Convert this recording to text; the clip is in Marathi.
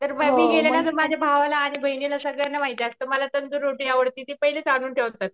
मी कधी गेले ना माझ्या भावाला आणि बहिणीला सगळ्यांना माहिती असत मला तंदुरी रोटी आवडती ते पहिलेच आणून ठेवतात.